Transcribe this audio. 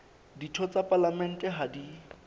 ditho tsa palamente ha di